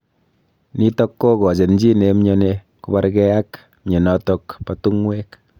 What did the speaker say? Nitok kokochin chi nemnyani kobarkei ak mnyenotok bo tungwek.